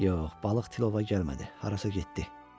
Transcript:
Yox, balıq tilova gəlmədi, harasa getdi.